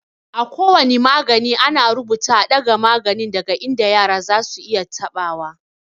A ko wane magani, ana rubuta "a ɗaga maganin daga inda yara zasu iya taɓa wa."